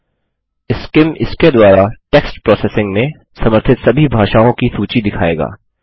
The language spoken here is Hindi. सीआईएम इसके द्वारा टेक्स्ट प्रोसेसिंग में समर्थित सभी भाषाओं की सूची दिखायेगा